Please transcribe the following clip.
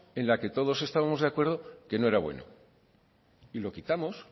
en la que todos estamos de acuerdo que no era bueno